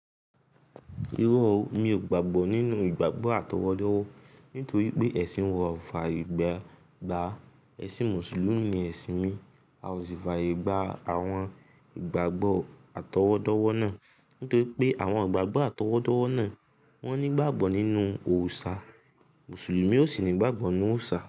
Irọ̀ mi ò gbàgbọ́ nínú ìgbàgbọ́ atọwọdọwọ, nítorí pé ẹ̀sìn wa kò fàyègba ẹ̀sìn Mùsùlùmí ni ẹ̀sìn mi. A o sì fàyègba àwọn ìgbàgbọ́ atọwọdọwọ náà. Nítorí pé àwọn ìgbàgbọ́ atọwọdọwọ náà wọ́n nígbàgbọ́ nínú òrìṣà. Mùsùlùmí ó sì nígbàgbọ́ nínú òrìṣà.